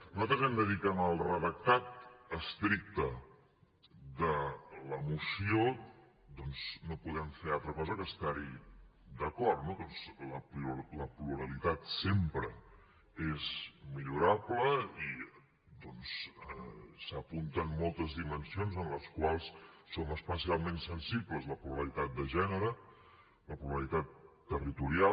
nosaltres hem de dir que en el redactat estricte de la moció doncs no podem fer altra cosa que estar hi d’acord no perquè la pluralitat sempre és millorable i s’apunten moltes dimensions en les quals som especialment sensibles la pluralitat de gènere la pluralitat territorial